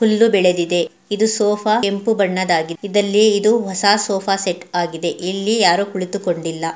ಹುಲ್ಲು ಬೆಳೆದಿದೆ. ಇದು ಸೋಫಾ ಕೆಂಪು ಬಣ್ಣದ್ದಾಗಿದಲ್ಲಿ ಇದು ಹೊಸ ಸೋಫಾ ಸೆಟ್ ಆಗಿದೆ ಇಲ್ಲಿ ಯಾರೋ ಕುಳಿತುಕೊಂಡಿಲ್ಲ.